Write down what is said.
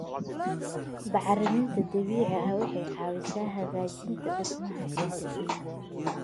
Bacriminta dabiiciga ah waxay caawisaa hagaajinta dhismaha ciidda.